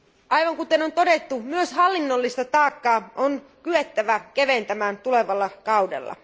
Aivan kuten on todettu, myös hallinnollista taakkaa on kyettävä keventämään tulevalla kaudella.